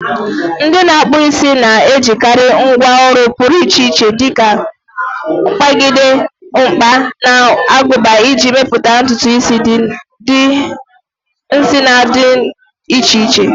Ndị na-akpụ isi na-ejikarị ngwá ọrụ pụrụ iche dika mkpagide, mkpa, na aguba iji mepụta ntutu isi na ụdị dị iche iche.